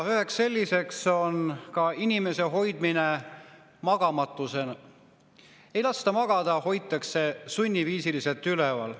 Üks neist on inimese hoidmine magamatuses – ei lasta magada, hoitakse sunniviisiliselt üleval.